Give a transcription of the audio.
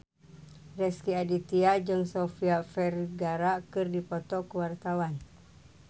Rezky Aditya jeung Sofia Vergara keur dipoto ku wartawan